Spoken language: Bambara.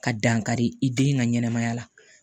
Ka dankari i den ka ɲɛnɛmaya la